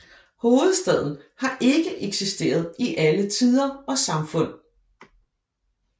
Hovedstaden har ikke eksisteret i alle tider og samfund